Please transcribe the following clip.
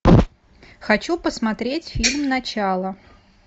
хочу посмотреть фильм начало